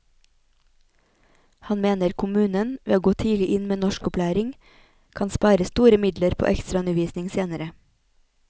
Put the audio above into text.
Han mener kommunen, ved å gå tidlig inn med norskopplæring, kan spare store midler på ekstraundervisning senere.